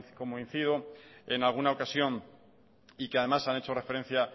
como incido en alguna ocasión y que además han hecho referencia